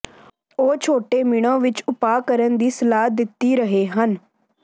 ਉਹ ਛੋਟੇ ਮਿਣੋ ਵਿੱਚ ਉਪਾਅ ਕਰਨ ਦੀ ਸਲਾਹ ਦਿੱਤੀ ਰਹੇ ਹਨ